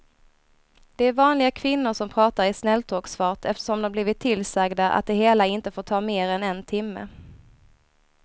Det är vanliga kvinnor som pratar i snälltågsfart eftersom de blivit tillsagda att det hela inte får ta mer än en timme.